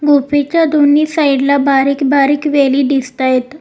खुपीच्या दोन्ही साईड ला बारीक बारीक वेली दिसतायेत.